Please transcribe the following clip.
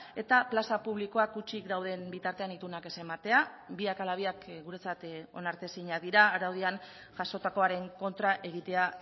eta plaza publikoak hutsik dauden bitartean itunak ez ematea biak ala biak guretzat onartezinak dira araudian jasotakoaren kontra egitea